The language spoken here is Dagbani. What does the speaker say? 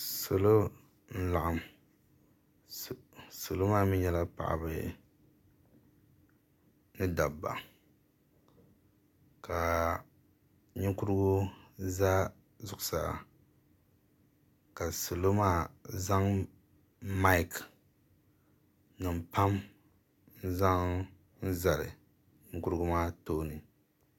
Salo n laɣim salo maa mi nyɛla paɣaba ni dabba ka ninkurigu za zuɣusaa ka salo maa zaŋ maki nima pam n zaŋ zali ninkurigu maa tooni.